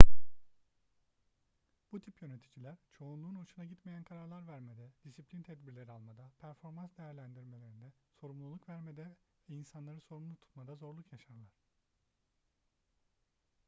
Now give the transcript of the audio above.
bu tip yöneticiler çoğunluğun hoşuna gitmeyen kararlar vermede disiplin tedbirleri almada performans değerlendirmelerinde sorumluluk vermede ve insanları sorumlu tutmada zorluk yaşarlar